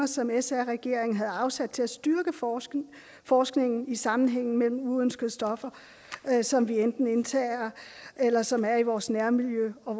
som sr regeringen havde afsat til at styrke forskningen forskningen i sammenhængen mellem uønskede stoffer som vi enten indtager eller som er i vores nærmiljø og